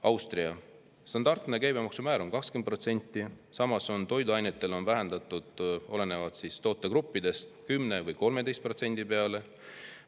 Austria standardne käibemaksumäär on 20%, samas on see toiduainetel vähendatud olenevalt tootegrupist 10% või 13% peale.